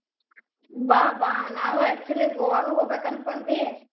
ಬಾ ಬಾ ನಾವು actually ಗೋವಾಗ್ ಹೋಗ್ಬೇಕ್ ಅನ್ಕೊಂಡ್ವಿ.